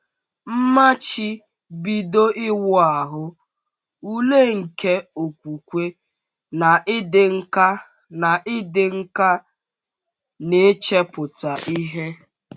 Mmachibido Iwu Ahụ — Ule nke Okwukwe na Ịdị Nkà na Ịdị Nkà n’Ichepụta Ihe